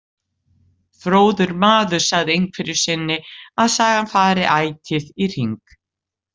Fróður maður sagði einhverju sinni að sagan fari ætíð í hring.